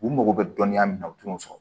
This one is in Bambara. U mago bɛ dɔnniya min na u t'o sɔrɔ